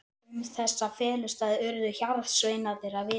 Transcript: Um þessa felustaði urðu hjarðsveinarnir að vita.